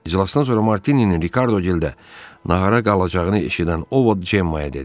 İclasdan sonra Martininin Rikardo Gildə nağara qalacağını eşidən o Vot Cemmaaya dedi: